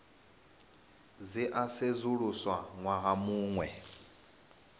dzi a sedzuluswa ṅwaha muṅwe